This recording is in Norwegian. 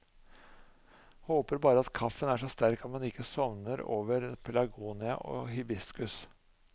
Håper bare at kaffen er så sterk at man ikke sovner over pelargonia og hibiskus.